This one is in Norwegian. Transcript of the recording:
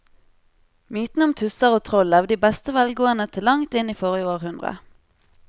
Mytene om tusser og troll levde i beste velgående til langt inn i forrige århundre.